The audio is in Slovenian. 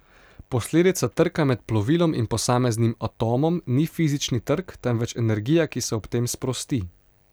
Posledica trka med plovilom in posameznim atomom ni fizični trk, temveč energija, ki se ob tem sprosti.